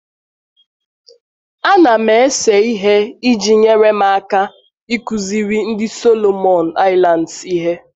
Ana m ese ihe iji nyere m aka ịkụziri ndị Solomon Islands ihe